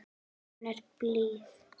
Hún er blíð.